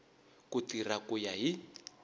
ku tirha ku ya hi